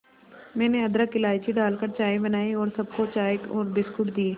मैंने अदरक इलायची डालकर चाय बनाई और सबको चाय और बिस्कुट दिए